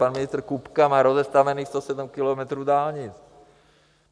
Pan ministr Kupka má rozestavěných 107 kilometrů dálnic.